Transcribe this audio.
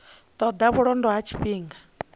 ṱo ḓa vhulondo ha tshifhinga